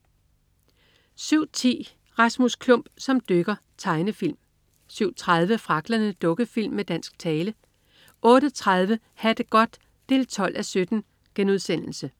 07.10 Rasmus Klump som dykker. Tegnefilm 07.30 Fragglerne. Dukkefilm med dansk tale 08.30 Ha' det godt 12:17*